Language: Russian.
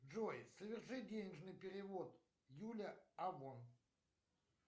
джой соверши денежный перевод юля авон